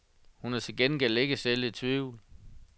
Hun er til gengæld ikke selv i tvivl.